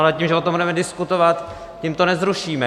Ale tím, že o tom budeme diskutovat, tím to nezrušíme.